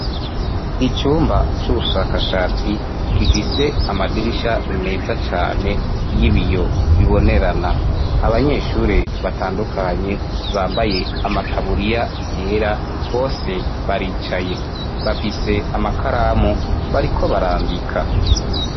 Icumba c'ubushakashatsi gifise amadirisha meza cane y'ibiyo bibonerana abanyeshure batandukanye bambaye amataburiya yera bose baricaye bafise amakaramu bariko barandika.